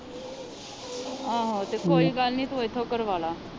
ਆਹੋ ਤੇ ਕੋਈ ਗੱਲ ਨਹੀਂ ਤੂੰ ਇੱਥੋਂ ਕਰਵਾਲਾ।